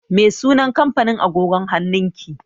Me sunan kampanin agogon hannun ki?